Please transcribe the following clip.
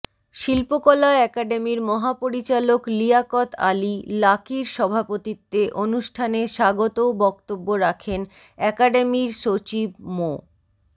শিল্পকলা একাডেমির মহাপরিচালক লিয়াকত আলী লাকীর সভাপতিত্বে অনুষ্ঠানে স্বাগত বক্তব্য রাখেন একাডেমির সচিব মো